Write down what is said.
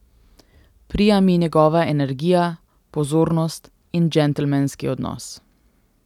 Prija mi njegova energija, pozornost in džentelmenski odnos ...